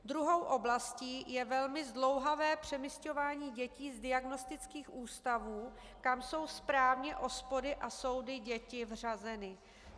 Druhou oblastí je velmi zdlouhavé přemisťování dětí z diagnostických ústavů, kam jsou správně OSPODy a soudy děti vřazeny.